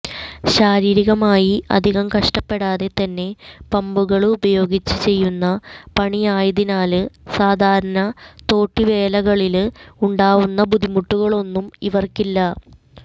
ശാരീരികമായി അധികം കഷ്ടപ്പെടാതെ തന്നെ പമ്പുകള് ഉപയോഗിച്ച് ചെയ്യുന്ന പണിയായതിനാല് സാധാരണ തോട്ടിവേലകളില് ഉണ്ടാവുന്ന ബുദ്ധിമുട്ടുകളൊന്നും ഇവര്ക്കില്ല